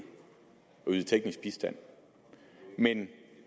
at yde teknisk bistand men